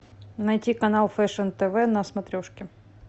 найти канал фэшн тв на смотрешке